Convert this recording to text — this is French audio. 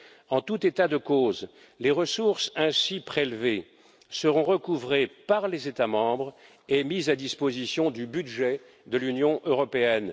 En tout état de cause, les ressources ainsi prélevées seront recouvrées par les États membres et mises à la disposition du budget de l'Union européenne.